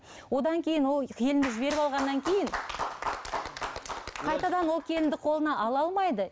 одан кейін ол келінді жіберіп алғаннан кейін қайтадан ол келінді қолына ала алмайды